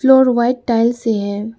और white tiles से है।